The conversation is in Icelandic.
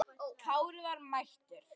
Kári var mættur!